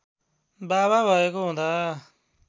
बाबा भएको हुँदा